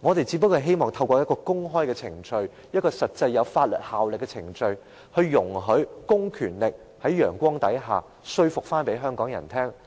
我們只想透過公開程序、一個實際有法律效力的程序，容許公權力在陽光下，說服香港人